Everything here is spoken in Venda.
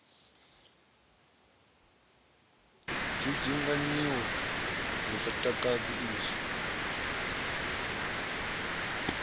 dzudzunganyiwa lu sa takadzi izwo